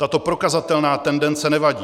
Tato prokazatelná tendence nevadí.